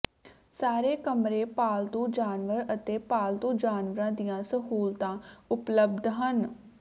ਸਾਰੇ ਕਮਰੇ ਪਾਲਤੂ ਜਾਨਵਰ ਅਤੇ ਪਾਲਤੂ ਜਾਨਵਰਾਂ ਦੀਆਂ ਸਹੂਲਤਾਂ ਉਪਲਬਧ ਹਨ